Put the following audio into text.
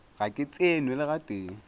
ga ke tsenwe le gatee